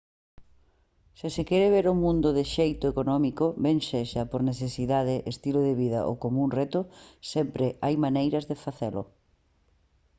se se quere ver o mundo de xeito económico ben sexa por necesidade estilo de vida ou como un reto sempre hai maneiras de facelo